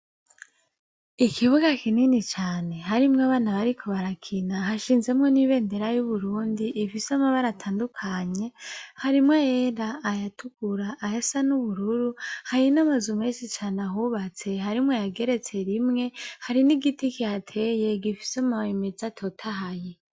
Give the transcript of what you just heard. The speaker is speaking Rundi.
Ikibuga kinini cane harimwo abana bariko barakina. Hashinzemwo n'ibendera y'Uburundi rifise amabara atandukanye: harimwo ayera, ayatukura, ayasa n'ubururu. Hari n'amazu menshi cane ahubatse; harimwo ayageretse rimwe. Hari n'igiti kihateye gifise amababi meza atotahaye.